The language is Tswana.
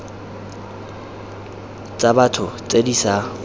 tsa batho tse di sa